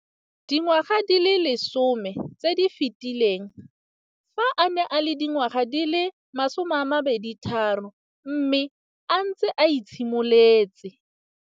Dingwaga di le 10 tse di fetileng, fa a ne a le dingwaga di le 23 mme a setse a itshimoletse.